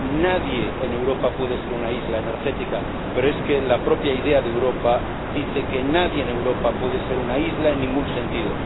Nadie en Europa puede ser una isla energética, pero es que la propia idea de Europa dice que nadie en Europa puede ser una isla en ningún sentido.